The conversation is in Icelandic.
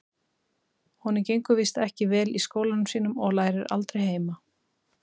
Honum gengur víst ekki vel í skólanum sínum og lærir aldrei heima.